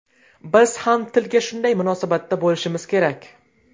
Biz ham tilga shunday munosabatda bo‘lishimiz kerak.